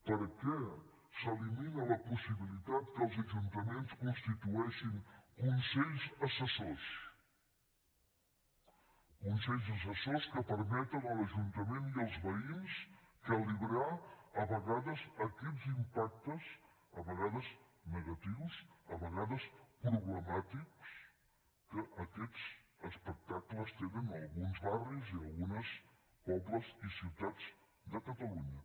per què s’elimina la possibilitat que els ajuntaments constitueixin consells assessors consells assessors que permeten a l’ajuntament i als veïns calibrar a vegades aquests impactes a vegades negatius a vegades problemàtics que aquests espectacles tenen a alguns barris i a alguns pobles i ciutats de catalunya